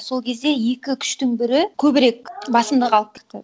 сол кезде екі күштің бірі көбірек басымдық алып кетті